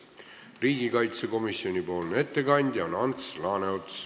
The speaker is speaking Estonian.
Riigikaitsekomisjoni ettekandja on Ants Laaneots.